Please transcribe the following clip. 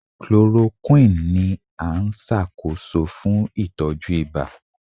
Chloroquine ni a nṣakoso fun itọju iba